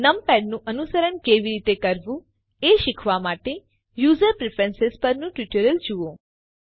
નમપૅડનું અનુકરણ કેવી રીતે એ શીખવા માટે યુઝર પ્રેફરન્સ પરનું ટ્યુટોરીયલ જુઓ